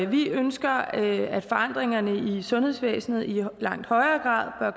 vi ønsker at forandringerne i sundhedsvæsenet i langt højere